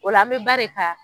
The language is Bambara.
Ola an bɛ ba de ka.